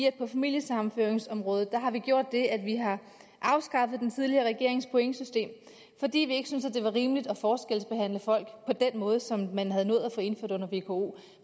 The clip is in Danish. at på familiesammenføringsområdet har vi gjort det at vi har afskaffet den tidligere regerings pointsystem fordi vi ikke syntes det var rimeligt at forskelsbehandle folk på den måde som man havde nået at få indført under vko